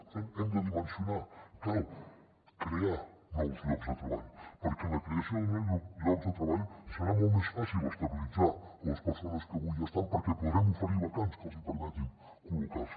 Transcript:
per tant hem de dimensionar cal crear nous llocs de treball perquè amb la creació de llocs de treball serà molt més fàcil estabilitzar les persones que avui ja hi estan perquè podrem oferir vacants que els hi permetin collocar se